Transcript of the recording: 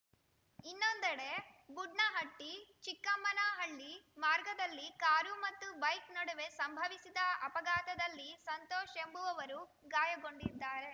ಇನ್ನೊಂದೆಡೆ ಬುಡ್ನಹಟ್ಟಿಚಿಕ್ಕಮ್ಮನಹಳ್ಳಿ ಮಾರ್ಗದಲ್ಲಿ ಕಾರು ಮತ್ತು ಬೈಕ್‌ ನಡುವೆ ಸಂಭವಿಸಿದ ಅಪಘಾತದಲ್ಲಿ ಸಂತೋಷ್‌ ಎಂಬುವವರು ಗಾಯಗೊಂಡಿದ್ದಾರೆ